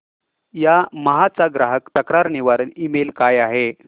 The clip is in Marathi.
यामाहा चा ग्राहक तक्रार निवारण ईमेल काय आहे